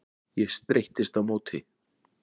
Ég streittist á móti.